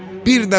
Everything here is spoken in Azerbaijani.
Bir də vurdu.